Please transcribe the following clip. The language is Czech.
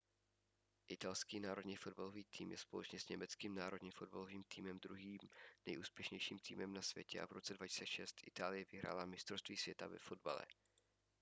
italský národní fotbalový tým je společně s německým národním fotbalovým týmem druhým nejúspěšnějším týmem na světě a v roce 2006 itálie vyhrála mistrovství světa ve fotbale